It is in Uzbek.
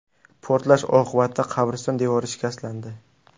Portlash oqibatida qabriston devori shikastlandi.